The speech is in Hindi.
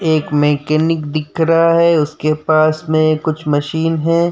एक मेकेनिक दिख रहा है। उसके पास मे कुछ मशीन है।